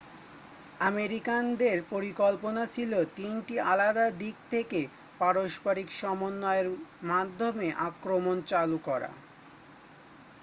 আমেরিকানদের পরিকল্পনা ছিল তিনটি আলাদা দিক থেকে পারস্পরিক সমন্বয়ের মাধ্যমে আক্রমণ চালু করা